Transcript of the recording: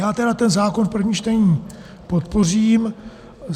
Já tedy ten zákon v prvním čtení podpořím.